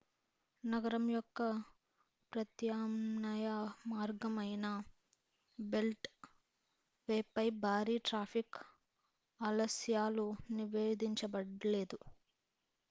నగరం యొక్క ప్రత్యామ్నాయ మార్గం అయిన బెల్ట్ వేపై భారీ ట్రాఫిక్ ఆలస్యాలు నివేధించబడలేదు